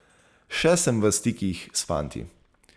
Še sem v stikih s fanti.